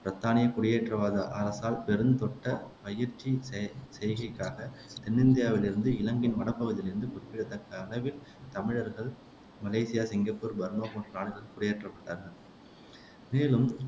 பிரித்தானியக் குடியேற்றவாத அரசால் பெருந்தொட்டப் பயிற்சி செ செய்கைக்காகத் தென்னிந்தியாவிலிருந்து இலங்கையின் வடபகுதியிலிருந்து குறிப்பிடத்தக்க அளவில் தமிழர்கள் மலேசியா, சிங்கப்பூர், பர்மா போன்ற நாடுகளில் குடியேற்றப்பட்டார்கள் மேலும்